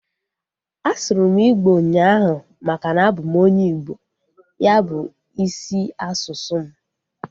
A sụrụ m igbo ụnyaahụ maka na abụ m onye Igbo. Ya bu isi asụsụ m